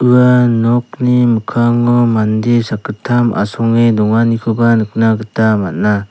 ua nokni mikkango mande sakgittam asonge donganikoba nikna gita man·a.